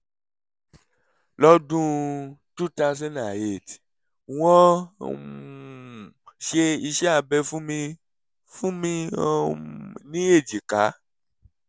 lọ́dún 2008 wọ́n um ṣe iṣẹ́ abẹ fún mi fún mi um ní èjìká